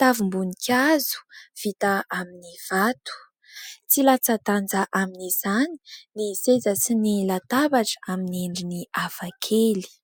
tavim-boninkazo vita amin'ny vato. Tsy latsa-danja amin'izany ny seza sy ny latabatra amin'ny endriny hafa kely.